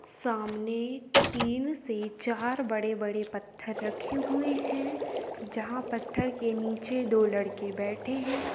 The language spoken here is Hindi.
सामने तीन से चार बड़े-बड़े पत्थर रखे हुए हैं जहाँ पत्थर के नीचे दो लड़के बैठे हैं।